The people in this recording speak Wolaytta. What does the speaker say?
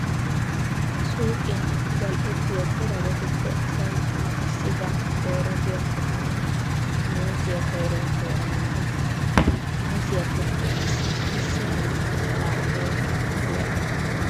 Suuqiyan zal"ettiya corabatuppe asay tana issibaa doora giyakko taani muuzziya koyruwan dooranawu days. Muuzziyappekka qassi issi naa"aa mala meennan mule aggikke.